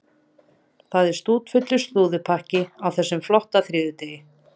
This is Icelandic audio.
Það er stútfullur slúðurpakki á þessum flotta þriðjudegi.